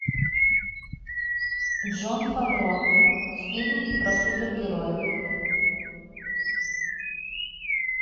джон фавро фильм про супергероя